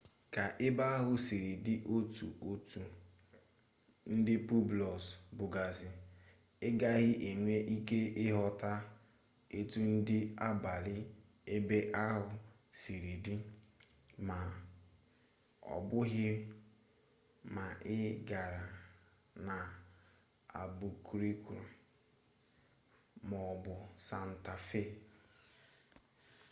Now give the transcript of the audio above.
ka ebe ahụ siri dị ọtụtụ ndị pueblos bụgasị ị gaghị enwe ike ịchọta etu ndụ abalị ebe ahụ siri dị ma ọbụghị ma ị gara n'albuquerque maọbụ santa fe